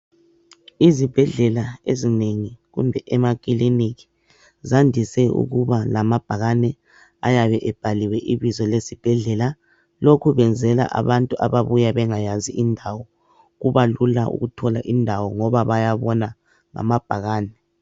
Izibhedlela ezinengi kumbe emakiliniki zandise ukuba lamabhakane ayabe ebhaliwe ibizo lesibhedlela. Lokhu benzela abantu ababuya bengayazi indawo. Kubalula ukuthola indawo ngoba bayabona amabhakane.